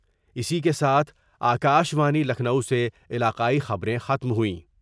اسی کے ساتھ آ کا شوانی لکھنو سے علاقائی خبریں ختم ہوئیں